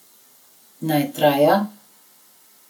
Naj traja ...